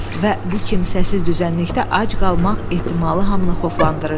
Və bu kimsəsiz düzənlikdə ac qalmaq ehtimalı hamını xoflandırırdı.